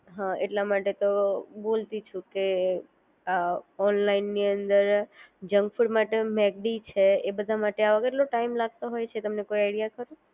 હા એટલા માટે તો બોલતી છું કે ઓનલાઇન ની અંદર જંક ફૂડ માટે મેકડી છે એ બધા માટે કેટલો ટાઈમ લાગતો હોય છે તમને કોઈ આઈડિયા ખરો